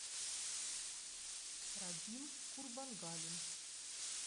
радим курбангалин